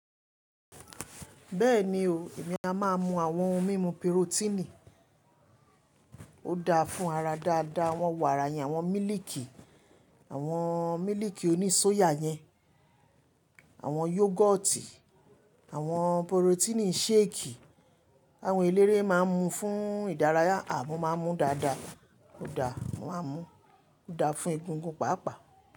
Bẹ́ẹ̀ni o, èmi a má a mu àwọn ohun mímu perotínì. Ó da fún ara dáadáa, awọ́n wàrà yèn, àwọn mílìkì, àwọn mílìkì oní sóyà yẹn, àwọn yogoti, àwọn porotínì ṣéèkì, tàwọn eléré ma ń mu fún ìdárayá, à mọ́ ma ń mú dáadáa, ó da, mo màá n mú ó da fún egungun pàápàá.